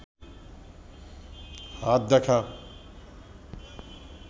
হাত দেখা